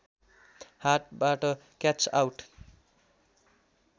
हातबाट catch out